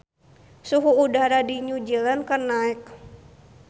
Suhu udara di New Zealand keur naek